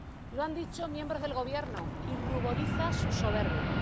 Lo han dicho miembros del gobierno y ruboriza su soberbia.